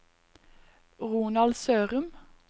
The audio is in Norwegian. Ronald Sørum